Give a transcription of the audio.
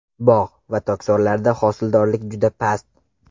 Bog‘ va tokzorlarda hosildorlik juda past.